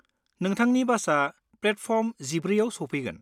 नोंथांनि बासआ प्लेटफर्म 14आव सफैगोन।